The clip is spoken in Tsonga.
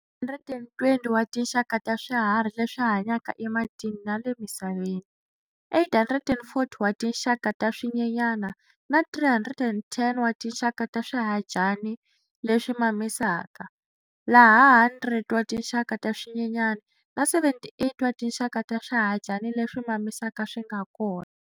120 wa tinxaka ta swiharhi leswi hanyaka ematini na le misaveni, 840 wa tinxaka ta swinyenyana na 310 wa tinxaka ta swihadyani leswi mamisaka, laha 100 wa tinxaka ta swinyenyana na 78 wa tinxaka ta swihadyani leswi mamisaka swi nga kona.